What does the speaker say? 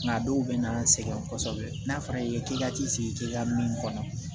Nka dɔw bɛ na an sɛgɛn kosɛbɛ n'a fɔra i ye k'i ka t'i sigi teliya min kɔnɔ